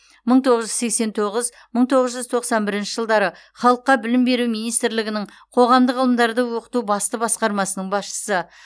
мың тоғыз жүз сексен тоғыз мың тоғыз жүз тоқсан бірінші жылдары халыққа білім беру министрлігінің қоғамдық ғылымдарды оқыту басты басқармасының басшысы